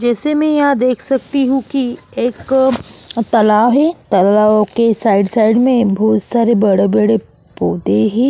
जैसे की मैं यहाँ देख सकती हु एक तलाव है तलाव के साइड साइड में बहुत सारे बड़े बड़े पोधे है।